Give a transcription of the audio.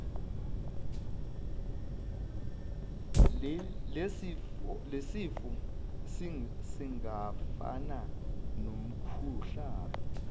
lesifo singafana nomkhuhlane